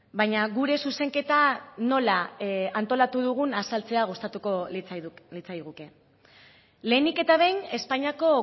baina gure zuzenketa nola antolatu dugun azaltzea gustatuko litzaiguke lehenik eta behin espainiako